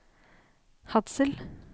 Hadsel